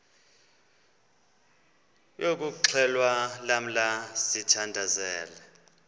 yokuxhelwa lamla sithandazel